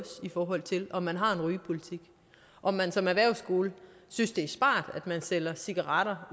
i forhold til om man har en rygepolitik om man som erhvervsskole synes det er smart at man sælger cigaretter